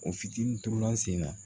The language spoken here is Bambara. O fitinin turula sen na